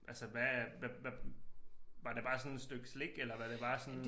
Altså hvad hvad hvad var det bare sådan stykke slik eller var det bare sådan